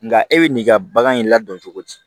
Nka e bɛ n'i ka bagan in ladon cogo di